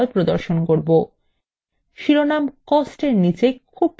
শিরোনাম কস্ট এর নীচে খুব কম মান রয়েছে